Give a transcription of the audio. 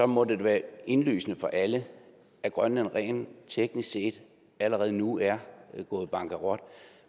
må det da være indlysende for alle at grønland rent teknisk set allerede nu er gået bankerot